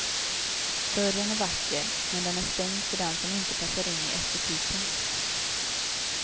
Dörren är vacker, men den är stängd för den som inte passar in i estetiken.